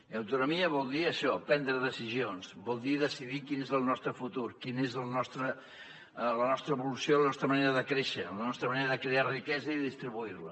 i autonomia vol dir això prendre decisions vol dir decidir quin és el nostre futur quina és la nostra evolució la nostra manera de créixer la nostra manera de crear riquesa i distribuir la